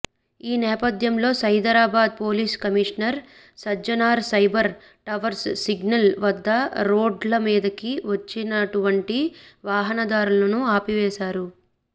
ఈ నేపధ్యంలో Cyberabad police commissioner Sajjanar Cyber Towers signal వద్ద రోడ్ల మీదికి వచ్చినటువంటి వాహనదారులను ఆపివేశారు